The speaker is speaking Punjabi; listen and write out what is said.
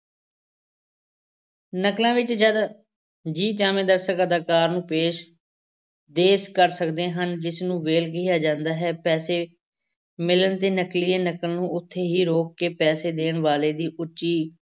ਨਕਲਾਂ ਵਿੱਚ ਜਦ ਜੀਅ ਚਾਹਵੇ ਦਰਸ਼ਕ ਅਦਾਕਾਰਾਂ ਨੂੰ ਪੇਸ ਦੇ ਕਰ ਸਕਦੇ ਹਨ, ਜਿਸਨੂੰ ਵੇਲ ਕਿਹਾ ਜਾਂਦਾ ਹੈ, ਪੈਸੇ ਮਿਲਨ ਤੇ ਨਕਲੀਏ ਨਕਲ ਨੂੰ ਉੱਥੇ ਹੀ ਰੋਕ ਕੇ ਪੈਸੇ ਦੇਣ ਵਾਲੇ ਦੀ ਉੱਚੀ